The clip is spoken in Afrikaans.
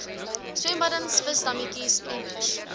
swembaddens visdammetjies emmers